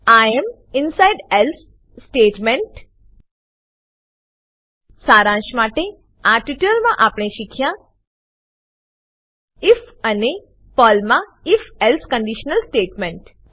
I am inside else statement શારાંશ માટે આ ટ્યુટોરીયલમાં આપણે શીખ્યા આઇએફ ઇફ અને પર્લમાં if else if else condition statement